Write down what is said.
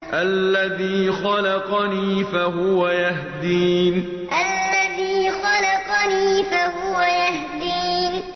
الَّذِي خَلَقَنِي فَهُوَ يَهْدِينِ الَّذِي خَلَقَنِي فَهُوَ يَهْدِينِ